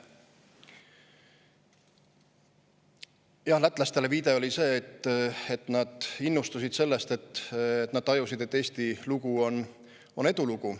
Jah, viide lätlastele oli see, et nad innustusid sellest, kui nad tajusid, et Eesti lugu on edulugu.